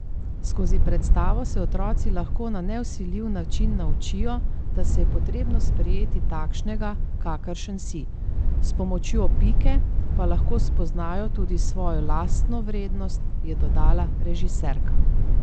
Skozi predstavo se otroci lahko na nevsiljiv način naučijo, da se je potrebno sprejeti takšnega, kakršen si, s pomočjo Pike pa lahko spoznajo tudi svojo lastno vrednost, je dodala režiserka.